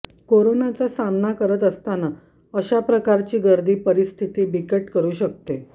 कोरोनाचा सामना करत असताना अशाप्रकारची गर्दी परिस्थिती बिकट करू शकते